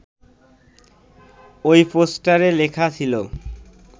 ওই পোস্টারে লেখা ছিল